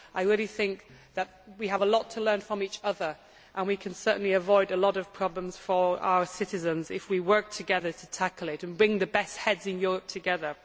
I think that we have a lot to learn from each other, and we can certainly avoid a lot of problems for our citizens if we work together to tackle this issue and bring the best heads in Europe together.